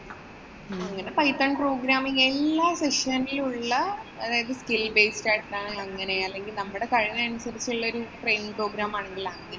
അങ്ങനെ python programming അങ്ങനെ എല്ലാ section ല്‍ ഉള്ള അതായത് skill based ആയിട്ടു അങ്ങനെ അല്ലെങ്കി നമ്മുടെ കഴിവനനുസരിച്ചുള്ള ഒരു training program ആണ് ഇവിടെയുള്ളത്.